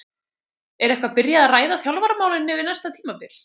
Er eitthvað byrjað að ræða þjálfaramálin fyrir næsta tímabil?